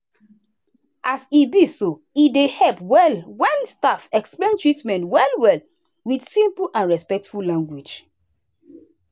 as e be so e dey help well when staff explain treatment well well with simple and respectful language.